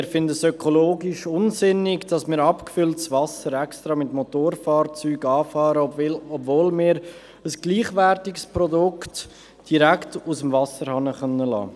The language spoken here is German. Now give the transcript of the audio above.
Wir finden es ökologisch unsinnig, dass man abgefülltes Wasser extra mit Motorfahrzeugen anliefert, obwohl wir ein gleichwertiges Produkt direkt aus dem Wasserhahn beziehen können.